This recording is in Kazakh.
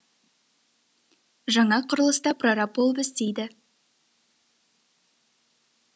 жаңа құрылыста прораб болып істейді